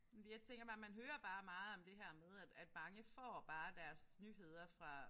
Men jeg tænker bare man hører bare meget om det her med at at mange får bare deres nyheder fra